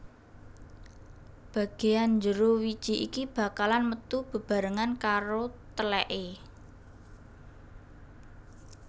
Bageyan jero wiji iki bakalan metu bebarengan karo teleke